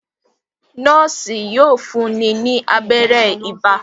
Noosi yóò fún ní abéré ibà.